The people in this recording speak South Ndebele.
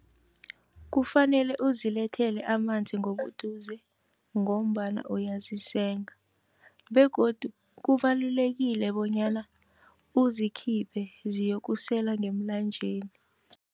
Kufanele uzilethele amanzi ngobuduze, ngombana uyazisenga. Begodu kubalulekile bonyana uzikhiphe ziyokusela ngemlanjeni.